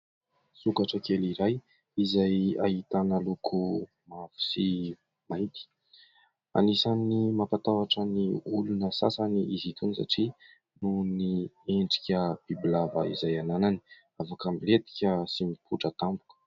Sokatra kely iray izay ahitana loko mavo sy mainty anisan'ny mampatahotra ny olona sasany izy itony satria noho ny endrika bibilava izay ananany, avoka milentika sy mipotra tampoka.